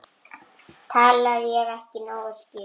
Talaði ég ekki nógu skýrt?